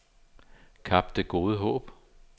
Kap Det Gode Håb